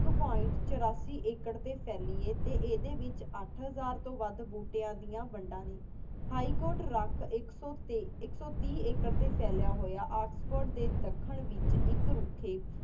ਏਕ point ਟੀ ਚਰਾਸੀ acre ਫਾਲੀ ਈਯ ਤਏਡੀ ਵੇਚ ਅਥਾ ਹਜ਼ਾਰ ਤੂੰ ਵਾਦ ਬੁਤ੍ਰੇਆਂ ਦਯਾਨ ਵੇਦਾਂ ਨੀ High court ਏਕ ਏਕ ਸੋ ਟੀ acre ਟੀ ਪਲੇਆ ਹੂਯ ਏਕ੍ਸ੍ਫ੍ਪਦੇ ਡੀ ਧਾਕ੍ਹਨ ਵੇਚ ਏਕ ਰੁਖੀ